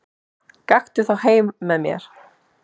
Gakktu þá heim með mér.